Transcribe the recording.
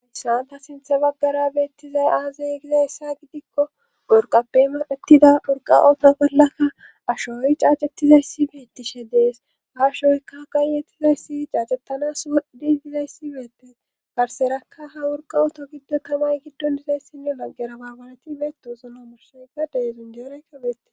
Ayssanta sinthe baggara beettizay aazay giza issa gidikko gurqappeymaettida wurqawoota bollaka ashooy caacettizayssi beettishe dees ha ashooyka gayyettizayssi caacettanas didizayssi beettes garserakka ha wurqa oto giddo tamay giddon dizayssinne laggera baabaleti beetuosono mursoy gadey zunjeeraykka beette